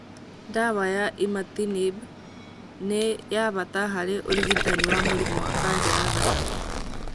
Ndawa ya imatinib nĩ wa bata harĩ ũrigitani wa mũrimũ wa kanja ya thakame